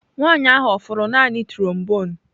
Nwanyị ahụ ọ fụrụ naanị trombone?